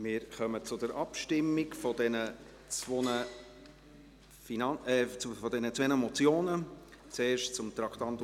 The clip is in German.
Wir kommen zur Abstimmung zu diesen zwei Motionen, zuerst zum Traktandum 45.